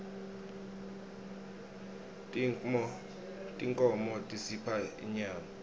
tinkhmo tisipha inyama